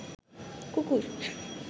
কুকুর